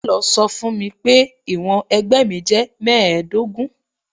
Télọ̀ sọ fún mi pé ìwọ̀n ẹ̀gbẹ́ mi jẹ́ mẹ́ẹ̀ẹ́dógún.